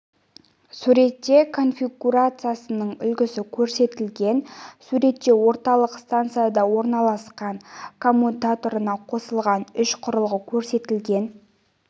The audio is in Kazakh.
суретте конфигурациясының үлгісі көрсетілген суретте орталық стансада орналасқан коммутаторына қосылған үш құрылғы көрсетілген